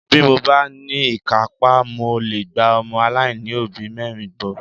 Bí mo bá ní ìkápá, mo lè gba ọmọ aláìní òbí mẹ́rin bọ́